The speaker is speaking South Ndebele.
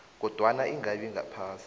kodwana ingabi ngaphasi